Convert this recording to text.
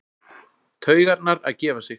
Taugarnar að gefa sig.